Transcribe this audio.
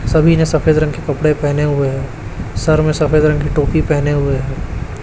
सभी ने सफेद रंग के कपड़े पहने हुए हैं सर में सफेद रंग की टोपी पहने हुए हैं।